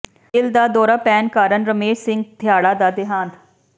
ਦਿਲ ਦਾ ਦੌਰਾ ਪੈਣ ਕਾਰਨ ਰੇਸ਼ਮ ਸਿੰਘ ਥਿਆੜਾ ਦਾ ਦੇਹਾਂਤ